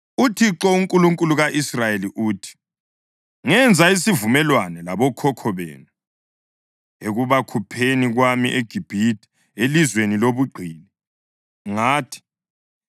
“ UThixo, uNkulunkulu ka-Israyeli uthi: Ngenza isivumelwano labokhokho benu ekubakhupheni kwami eGibhithe, elizweni lobugqili. Ngathi,